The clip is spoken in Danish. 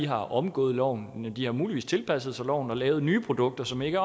har omgået loven men de har muligvis tilpasset sig loven og lavet nye produkter som ikke